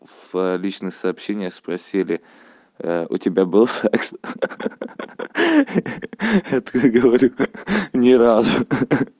в личных сообщениях спросили у тебя был секс ха-ха я такой говорю ни разу